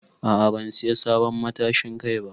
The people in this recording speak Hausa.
A'a ban siya sabon matashin Kai ba.